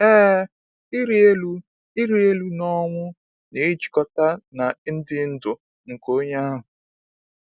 Ee, ịrị elu ịrị elu n’ọnwụ na-ejikọta n’ịdị ndụ nke onye ahụ.